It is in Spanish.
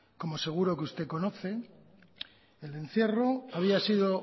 como seguro que usted conoce el encierro había sido